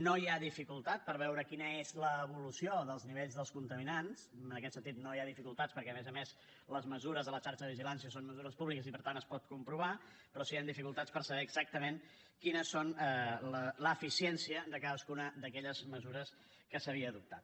no hi ha dificultat per veure quina és l’evolució dels nivells dels contaminants en aquest sentit no hi ha dificultats perquè a més a més les mesures de la xarxa de vigilància són mesures públiques i per tant es pot comprovar però sí hi han dificultats per saber exactament quines són l’eficiència de cadascuna d’aquelles mesures que s’havia adoptat